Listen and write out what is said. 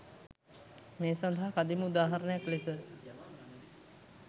මේ සඳහා කදිම උදාහරණයක් ලෙස